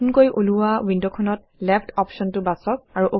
নতুনকৈ ওলোৱা ৱিণ্ডখনত লেফ্ট অপশ্যনটো বাচক